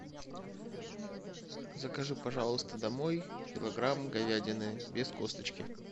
закажи пожалуйста домой килограмм говядины без косточки